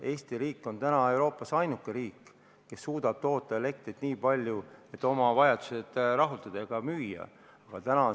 Eesti on Euroopas ainuke riik, kes suudab toota elektrit nii palju, et oma vajadused rahuldada ja elektrit ka müüa.